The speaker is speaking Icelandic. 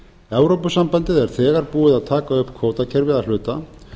evrópusambandið er þegar búið að taka upp kvótakerfið að hluta